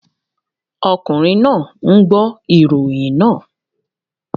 Ọkùnrin náà ń gbọ́ ìròyìn náà